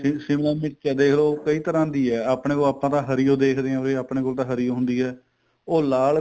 ਸ਼ਿਮਲਾ ਮਿਰਚ ਏ ਦੇਖ ਲੋ ਕਈ ਤਰ੍ਹਾਂ ਦੀ ਏ ਆਪਣੇ ਕੋਲ ਆਪਾਂ ਹਰੀ ਓ ਦੇਖਦੇ ਆ ਵੀ ਆਪਣੇ ਕੋਲ ਤਾਂ ਹਰੀ ਓ ਹੁੰਦੀ ਏ ਉਹ ਲਾਲ